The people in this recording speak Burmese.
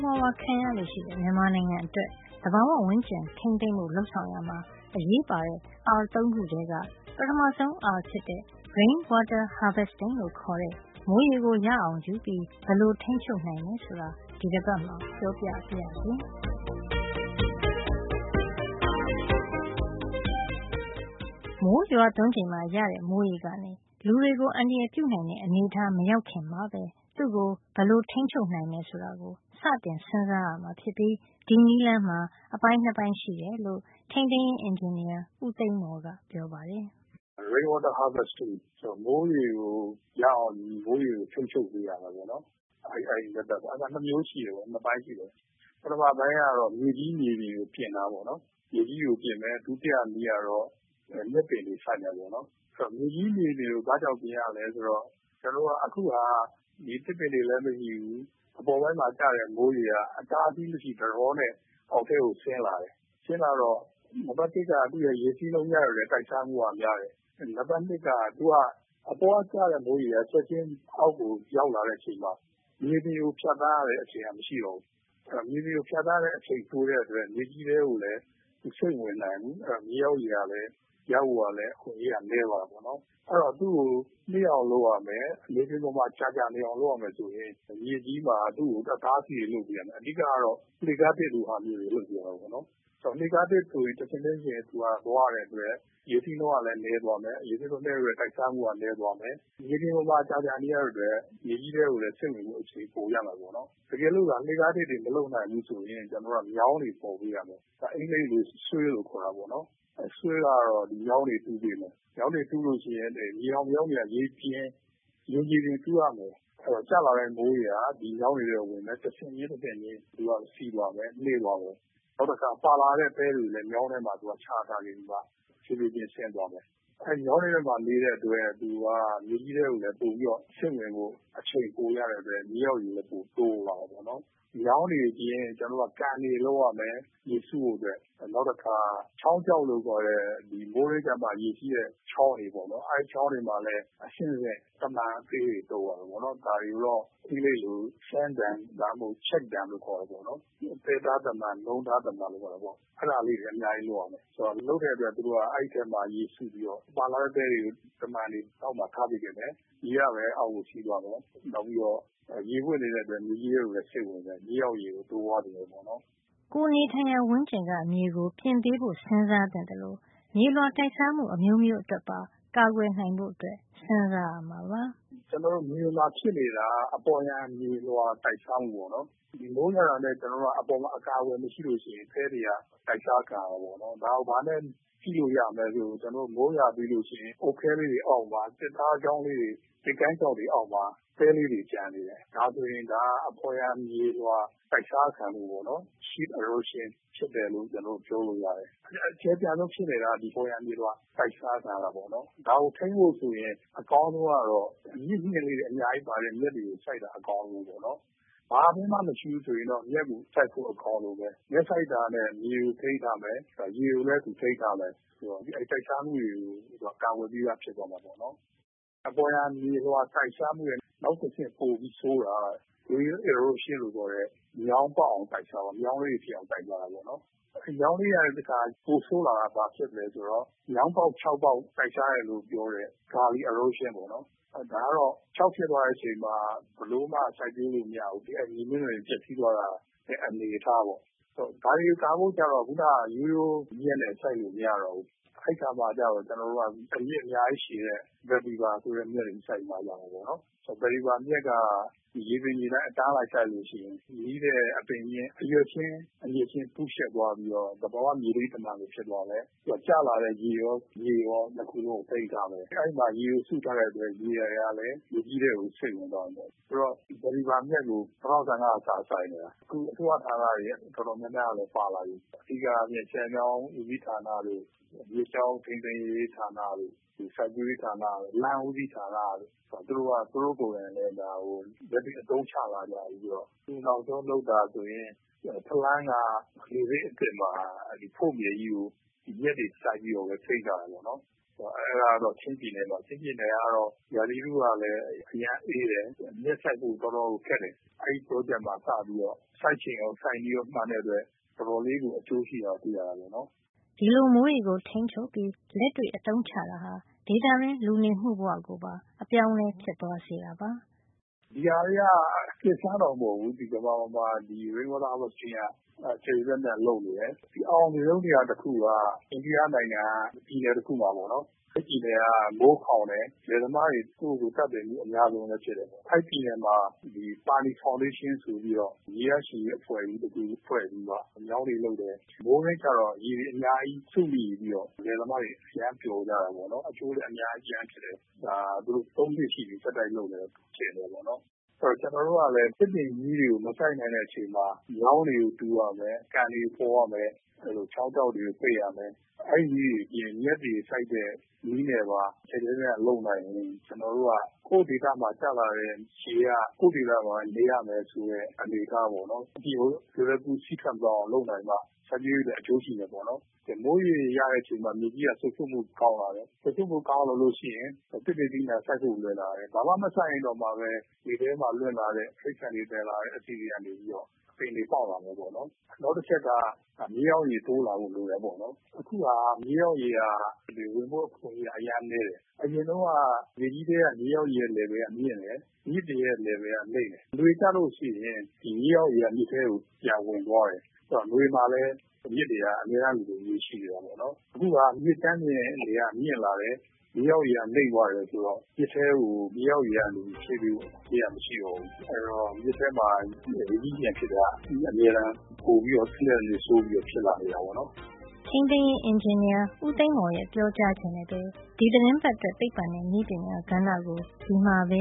ဝါးဝါး ခံရလေ့ရှိတဲ့ မြန်မာနိုင်ငံအတွက် သဘာဝဝန်းကျင်ထိန်းသိမ်းဖို့ လုပ်ဆောင်ရာမှာ အရေးပါတဲ့ R ၃ ခုထဲက ပထမဆုံး R ဖြစ်တဲ့ Rain Water Harvesting လို့ခေါ်တဲ့ မိုးရေကို ရအောင်ယူပြီး ဘယ်လို ထိန်းချုပ်နိုင်တယ်ဆိုတာကို ဒီတပတ်မှာ ပြောပြပါရစေ။ မိုးရွာသွန်းချိန်မှာ ရရှိတဲ့ မိုးရေကနေ လူတွေကို အန္တရာယ်ပြုနိုင်တဲ့ အနေထား မရောက်ခင်မှာပဲ သူ့ကိုဘယ်လို ထိန်းချုပ်နိုင်မယ် ဆိုတာကို စတင် စဉ်းစားရမှာ ဖြစ်ပြီး အဲဒီနည်းလမ်းမှာ အပိုင်း ၂ ပိုင်း ရှိတယ်လို့ ထိန်းသိမ်းရေးအင်ဂျင်နီယာ ဦးသိန်းမော်က ပြောပါတယ်။ “Rain Water Harvesting ဆိုတာက မိုးရေကို ရအောင်ယူပြီး မိုးရေကို ထိန်းချုပ်ပေးတာ ပေါ့နော်။ အဲဒီနည်းမှာ ၂ မျိုးရှိတယ်။ ၂ ပိုင်းရှိတယ်။ ပထမပိုင်းကတော့ မြေကြီး မြေပြင်ကို ပြင်တာပေါ့နော်။ မြေကြီးကို ပြင်မယ်။ ဒုတိယနည်းကတော့ မြက်ပင်တွေ စိုက်မယ်ပေါ့နော်။” “အဲဒီတော့ ပထမနည်းဖြစ်တဲ့ မြေကြီး မြေပြင်ကို ဘာ့ကြောင့် ပြင်ရသလဲ ဆိုတော့ ကျွန်တော်တို့ဆီမှာ အခုဟာက သစ်ပင်တွေလည်း မရှိဘူး။ အပေါ်ပိုင်းမှာ ကျတဲ့ မိုးရေက အတားအဆီးမရှိ ဒလဟောနဲ့ အောက်ပိုင်းကို ဆင်းလာတယ်။ ဆင်းလာတော့ နံပတ် ၁ က တိုက်စားမှုက များတယ်။ နံပတ် ၂ က သူက အပေါ်ကကျတဲ့ မိုးရေက အောက်ကို ချက်ချင်း ရောက်လာတဲ့ အခါမှာ မြေပြင်ကို ဖြတ်သန်းရတဲ့ အချိန်က မရှိတော့ဘူး။ မြေပြင်ကို ဖြတ်သန်းရတဲ့ အချိန် တိုတဲ့အတွက် သူက မြေကြီးထဲကို ရေမစိမ့်ဝင်နိုင်ဘူး။ မြေအောက်ရေ ရဖို့ကလည်း အခွင့်အရေးက နဲသွားတယ်။ အဲဒီတော့ သူ့ကို နှေးအောင် လုပ်ရမယ်။ မြေပြင်ပေါ်မှာ ကြာကြာနေအောင် လုပ်ရမယ်ဆိုရင် မြေကြီးမှာ အတားအဆီးတွေ လုပ်ပေးရမယ်။” “အဓိကကတော့ သူ့ကို လှေခါးထစ်လို ဟာမျိုးတွေ လုပ်ပေးရမယ်။ လှေခါးထစ် ဆိုရင် သူက တထစ်ချင်းကို သွားရတဲ့ အတွက် ရေစီးနှုန်းကလည်း နဲသွားမယ်။ ရေစီးနှုန်းနဲပြီး တိုက်စားမှုကလည်း နဲသွားမယ်။ မြေပြင်ပေါ်မှာ ကြာကြာ နေရတဲ့ အတွက် မြေကြီးထဲကိုလည်း စိမ့်ဝင်ဖို့ အချိန်ပိုရမယ် ပေါ့နော်။” “တကယ်လို့သာ လှေခါးထစ်တွေ မလုပ်နိုင်ဖူး ဆိုရင် ကျွန်တော်တို့က မြောင်းတွေ ဖေါ်ပေးရမယ်။ သူက အင်္ဂလိပ်လို Swale လို့ခေါ်တာပေါ့နော်။ မြောင်းတွေ တူးပေးဖို့ပေါ့။ မြေအောက်မြောင်းတွေက မြေပြင်ကို တူးရမယ်။ အဲဒီတော့ ကျလာတဲ့ မိုးရေက ဒီမြောင်းတွေထဲ ဝင်မယ်။ တဆင့်ချင်း တဆင့်ချင်း သူက စီးသွားမယ်၊ နှေးသွားမယ်။ နောက်တခါ ပါလာတဲ့ သဲတွေလည်း မြောင်းတွေထဲမှာ သူက ချထားပြီး သူက ဖြေးဖြေးချင်း ဆင်းသွားမယ်။ အဲဒီလို မြောင်းတွေထဲမှာ နေတဲ့အတွက် သူက မြေကြီးထဲကိုလည်း ပိုပြီးတော့ စိမ့်ဝင်ဖို့ အချိန်ရတဲ့အတွက်ကြောင့် မြေအောင်ရေကို သူက ပိုပြီးတော့ တိုးသွားစေတာ ပေါ့နော်။” “မြောင်းတွေအပြင် ကျွန်တော်တို့က ရေစုဖို့အတွက် ကန်တွေ လုပ်ရမယ်။ နောက်တခါ ချောင်းခြောက်လို့ ခေါ်တဲ့ မိုးတွင်းကျမှ ရေစီးတဲ့ ချောင်းတွေ ပေါ့နော်။ အဲဒီချောင်းတွေ မှာလဲ အဆင့်ဆင့် တမံ အသေးတွေ တုပ်ရမယ်ပေါ့နော်။ ဒါတွေကိုတော့ အင်္ဂလိပ်လို Sand dam ဒါမှမဟုတ် Check dam လို့ခေါ်တာပေါ့နော်။ သဲတားတမံ၊ နုံးတားတမံ လို့ခေါ်တာပေါ့။ အဲဒါလေးတွေလည်း အများကြီး လုပ်ရမယ်။ အဲဒီလို လုပ်တဲ့အတွက် အဲဒီထဲမှာ ရေရှိပြီးတော့ ပါလာတဲ့ သဲတွေကို တမံတွေ အောက်မှာ ထားပစ်ခဲ့မယ်။ ရေကပဲ အောက်ကို စီးသွားမယ်။ နောက်ပြီးတော့ ရေဝပ်နေတဲ့အတွက် မြေကြီးထဲကိုလည်း စိမ့်ဝင်သွားမယ်။ မြေအောက်ရေကို တိုးပွါးစေတာ ပေါ့နော်။” ကိုယ်နေထိုင်ရာ ဝန်းကျင်က မြေကို ပြင်ပေးဖို့ စဉ်းစားသင့်သလို မြေလွှာ တိုက်စားမှု အမျိုးမျိုးအတွက် ပါ ကာကွယ်နိုင်ဖို့ စဉ်းစားရမှာပါ။ “ကျွန်တော်တို့ မြေမှာ ဖြစ်နေတာက အပေါ်ယံမြေလွှာ တိုက်စားမှုပေါ့နော်။ မိုးရွာတာနဲ့ ကျွန်တော်တို့က အပေါ်မှာ အကာအကွယ် မရှိလို့ရှိရင် သဲတွေက အတိုက်စား ခံရတာပေါ့နော်။ ဒါကို ဘာနဲ့ ကြည့်လို့ ရမလဲ ဆိုတော့ ဥပမာ မိုးရွာပြီးလို့ ရှိရင် အုတ်ခဲလေးတွေ အောက်မှာ၊ သစ်ကိုင်းချောက်တွေ အောက်မှာ သဲလေးတွေ ကျန်နေတယ်။ ဒါဟာဆိုရင် အပေါ်ယံမြေလွှာ တိုက်စားတာ ခံရလို့ပေါ့နော်။ Sheet erosion ဖြစ်တယ်လို့ ကျွန်တော်တို့ ပြောလို့ရတယ်။ အဲဒီ အကျယ်ပြန့်ဆုံး ဖြစ်နေတာက အပေါ်ယံမြေလွှာ အတိုက်စားခံရတာ။ ဒါကို ထိန်းဖို့ ဆိုရင် အကောင်းဆုံးကတော့ အမြစ်မျှင်တွေ အများဆုံးပါတဲ့ မြက်တွေကို စိုက်တာအကောင်းဆုံးပေါ့။ ဘာပင်မှ မရှိဘူး ဆိုရင်တော့ မြက်ကို စိုက်ဖို့ အကောင်းဆုံးပဲ။ မြက်စိုက်တာနဲ့ မြေကို ထိန်းထားမယ်။ ဒါ ရေကိုလည်း သူထိန်းထားမယ်။ ဆိုတော့ တိုက်စားမှုတွေကို သူက ကာကွယ်ပြီးသား ဖြစ်သွားမယ်။” “အပေါ်ယံမြေလွှာ တိုက်စားမှုထက် နောက်တဆင့် ပိုပြီး ဆိုးတာက Rill erosion လို့ခေါ်တဲ့ မြောင်းကလေးတွေ ပေါ်အောင် တိုက်စားသွားတာ။ အဲဒီ မြောင်းကလေးတွေကနေ တခါ ပိုဆိုးလာတာက မြောင်းပေါက် ချောင်းပေါက် တိုက်စားတယ်လို့ပြောတဲ့ Gully erosion ပေါ့နော်။ ဒါကတော့ ချောင်းဖြစ်သွားတဲ့ အချိန်မှာ ဘယ်လိုမှ စိုက်ပျိုးလို့ မရဘူး။ အဲဒီ မြေမျက်နှာပြင်တွေ ပျက်စီးသွားတာ။ အဲဒီအနေအထားပေါ့။ ဆိုတော့ ဒါတွေ ကာကွယ်ဖို့ကျတော့ စောစောက ရိုးရိုးမြက်နဲ့ ဘယ်လိုမှ စိုက်လို့မရတော့ဘူး။ အဲဒီအခါကျတော့ ကျွန်တော်တို့က အမြစ်အများကြီး ရှည်တဲ့ Vetiver ဆိုတဲ့ မြက်တွေ စိုက်မှ ရတယ်။” “အဲဒီ ဗက်တီဗာ မြက်က မြေပြင်ညီအတိုင်း အတန်းလိုက် စိုက်လို့ရှိရင် နီးတဲ့ အပင်ချင်း၊ အရွက်ချင်း အမြစ်ချင်း ကူးယှက်သွားပြီးတော့ သဘာဝ မြေထိန်းတမံ ဖြစ်သွား တယ်။ သူက ကျလာတဲ့ ရေရော၊ မြေရော ၂ ခုစလုံးကို ထိန်းထားမယ်။ အဲဒီမှာ ရေကို စုထားတဲ့ အတွက် ရေတွေကလည်း မြေကြီးထဲကို စိမ့်ဝင်သွားမယ်။ အဲဒီတော့ ဗက်တီဗာ မြက်ကို ၂၀၁၅ က စစိုက်တာ၊ အခု အစိုးရဌာနတွေ အတော်များများကလည်း ပါလာပြီ။ အဓိကအားဖြင့် ဆည်မြောင်း ဦးစီးဌာနတို့၊ မြစ်ကြောင်း ထိန်းသိမ်းရေးဌာနတို့၊ စိုက်ပျိုးရေးဌာနတို့၊ လမ်းဦးစီးဌာနတို့ သူတို့က သူတို့ကိုယ်တိုင်လည်း ဒါကို လက်တွေ့ အသုံးချလာကြပြီ။” “အခု နောက်ဆုံးလုပ်တာ ဆိုရင် ချင်းပြည်နယ်၊ ဖလမ်းက လေဆိပ် အသစ်မှာ ဖို့မြေကြီးကို မြက်တွေ စိုက်ပြီးတော့ပဲ ထိန်းထားတာ ပေါ့နော်။ အဲဒါကတော့ ချင်းပြည်နယ်မှာ။ ချင်းပြည်နယ်မှာ ကျတော့ ရာသီဥတု ကလည်း အရမ်းအေးတယ်။ မြက်စိုက်ဖို့ တော်တော် ခက်တယ်။ အဲဒီ ပရောဂျက်မှာ စပြီးတော့ စိုက်ချိန်ရော၊ စိုက်နည်းရော မှန်တဲ့အတွက် တော်တော်လေးကို အကျိုးရှိတာ တွေ့ရတာ ပေါ့နော်။” ဒီလို မိုးရေကို ထိန်းချုပ်ပြီး လက်တွေ့ အသုံးချတာဟာ ဒေသတွင်း လူနေမှုဘဝ ကိုပါ ပြောင်းလဲ သွားစေတာပါ။ “ဒီဟာတွေဟာ အသစ်အဆန်းတော့ မဟုတ်ဖူး။ ကမ္ဘာပေါ်မှာ Rain water harvesting က ကျယ်ကျယ်ပြန့်ပြန့် လုပ်နေတယ်။ ဒီအအောင်မြင်ဆုံး နေရာတခုက အိန္ဒိယနိုင်ငံက ပြည်နယ် တခုမှာပေါ့နော်။ အဲဒီပြည်နယ်က မိုးခေါင်တယ်။ လယ်သမားတွေ ကိုယ့်ကိုယ်ကို သတ်သေတာ အများဆုံးလည်း ဖြစ်တယ်။ အဲဒီပြည်နယ်မှာ ပါနီဖေါင်ဒေးရှင်း ဆိုပြီး တော့ ရေရရှိရေး အဖွဲ့ ဖွဲ့ပြီးတော့ မြောင်းတွေ လုပ်တယ်။ မိုးတွင်းကျတော့ ရေတွေ အများကြီး စုမိပြီးတော့ လယ်သမားတွေ အရမ်းပျော်ကြတာပေါ့လေ။ အကျိုးဆက် အများကြီး ရခဲ့တဲ့ နေရာပေါ့။ ဒီဟာကို သူတို့ ၃ နှစ် ဆက်တိုက်ရှိပြီ လုပ်နေတဲ့ အခြေနေပေါ့နော်။” “အဲဒီတော့ ကျွန်တော်တို့ကလည်း သစ်ပင်ကြီးတွေကို မစိုက်နိုင်တဲ့ အချိန်မှာ မြောင်းတွေကို တူးရမယ်။ ကန်တွေကို ဖေါ်ရမယ်။ ချောင်းခြောက်တွေကို ပိတ်ရမယ်။ အဲဒီ နည်းတွေ အပြင် မြက်တွေကို စိုက်တဲ့ နည်းနဲ့ပါ ကျယ်ကျယ် ပြန့်ပြန့် လုပ်နိုင်ရင် ကျွန်တော်တို့က ကိုယ့်ဒေသမှာ ကျလာတဲ့ မိုးရေက ကိုယ့်ဒေသမှာပဲ နေရမယ် ဆိုတဲ့ အနေအထားပေါ့နော်။ အပြင်ကို လွယ်လွယ်ကူကူ စီးထွက် မသွားအောင် လုပ်နိုင်မှ စိုက်ပျိုးရေးအတွက် အကျိုးရှိမယ်ပေါ့နော်။ မိုးရေ ရတဲ့ အချိန်မှာ မြေကြီးက စိုစွတ်မှု ကောင်းလာတယ်။ စိုစွတ်မှု ကောင်းလာလို့ရှိရင် သစ်ပင် သီးနှံ စိုက်ဖို့ လွယ်လာမယ်။ ဘာမှ မစိုက်ရင် တောင်မှပဲ လေထဲမှာ လွင့်လာတဲ့၊ တိရိစ္ဆာန်တွေ သယ်လာတဲ့သစ်စေ့ တွေက အပင်တွေ ပေါက်လာမယ်။ နောက်တချက်က မြေအောက်ရေ တိုးလာဖို့ လိုတယ်။ အခုဟာက မြေအောက်ရေက ဝင်ဖို့ အခွင့်အရေးက အရမ်းနဲတယ်။” “အရင်တုန်းက မြေကြီးထဲက မြေအောက်ရေရဲ့ level က မြင့်တယ်။ မြစ်ပြင်ရဲ့ လယ်ဗယ်က နိမ့်တယ်။ နွေကျလို့ ရှိရင် ဒီမြေအောက်ရေက မြစ်ထဲကို ပြန်ဝင်သွားတယ်။ ဆိုတော့ နွေမှာလည်း မြစ်တွေက အမြဲတမ်းလိုလို ရေရှိတာ ပေါ့နော်။ အခုဟာက မြစ်ကြမ်းပြင် ရေပြင်က မြင့်လာတယ်။ မြေအောက်ရေက နိမ့်သွားတယ်။ ဆိုတော့ မြစ်ထဲကို မြေအောက်ရေကနေ ဖြည့်ပေးစရာ ရေက မရှိတော့ဘူး။ အဲဒီတော့ မြစ်ထဲမှာ ရေကြီးရေလျှံ ဖြစ်တာက အမြဲတမ်း ပိုပြီးတော့ တနှစ်ထက် တနှစ် ဆိုးလာနေတာ ပေါ့နော်။” ထိန်းသိမ်းရေးအင်ဂျင်နီယာ ဦးသိန်းမော်ရဲ့ ပြောကြားချက်နဲ့ပဲ ဒီသီတင်းပတ်အတွက် သိပ္ပံနဲ့ နည်းပညာကဏ္ဍကို ဒီမှာပဲ